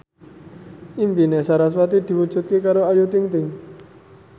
impine sarasvati diwujudke karo Ayu Ting ting